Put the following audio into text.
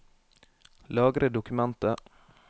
Lagre dokumentet